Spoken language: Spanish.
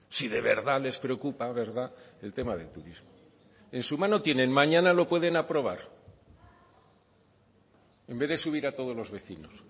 si de verdad les preocupa verdad el tema de turismo en su mano tienen mañana lo pueden aprobar en vez de subir a todos los vecinos